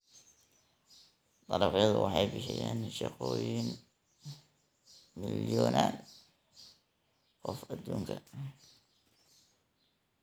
Dalagyada waxay bixiyaan shaqooyin milyonan qof adduunka.